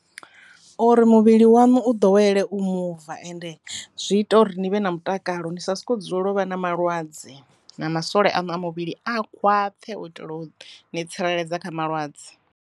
Uri muvhili wanu u ḓowele u mover ende zwi ita uri ni vhe na mutakalo ni sa soko dzulela u vha na malwadze na masole anu a muvhili a khwaṱhe u itela u ni tsireledza kha malwadze.